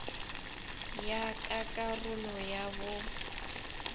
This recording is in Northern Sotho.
ya ka karolo ya bo